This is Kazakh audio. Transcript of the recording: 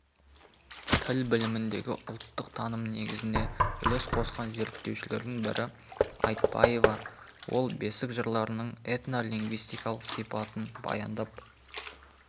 тіл біліміндегі ұлттық таным негізіне үлес қосқан зерттеушілердің бірі айтпаева ол бесік жырларының этнолингвистикалық сипатын баяндап